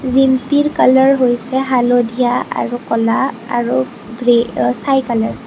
জিমটিৰ colour হৈছে হালধীয়া আৰু কলা আৰু গ্ৰে অ চাই কালাৰ ।